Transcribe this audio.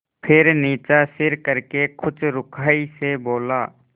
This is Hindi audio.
फिर नीचा सिर करके कुछ रूखाई से बोला